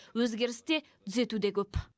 өзгеріс те түзету де көп